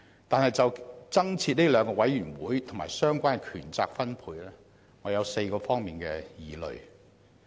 但是，就增設這兩個委員會及相關的權責分配，我有4方面的疑慮。